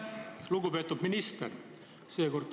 Lugupeetud minister!